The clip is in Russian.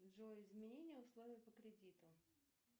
джой изменения условий по кредиту